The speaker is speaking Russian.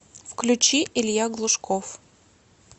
включи илья глушков